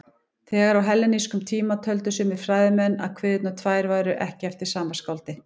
Þegar á hellenískum tíma töldu sumir fræðimenn að kviðurnar tvær væru ekki eftir sama skáldið.